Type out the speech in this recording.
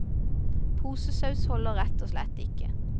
Posesaus holder rett og slett ikke.